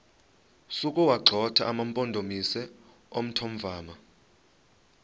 sokuwagxotha amampondomise omthonvama